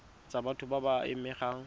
tsa batho ba ba amegang